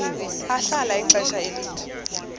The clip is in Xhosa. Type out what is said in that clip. ahlala ixesha elide